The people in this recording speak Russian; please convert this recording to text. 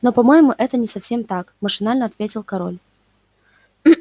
но по-моему это не совсем так машинально ответил король